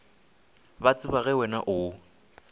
ba tseba ge wena o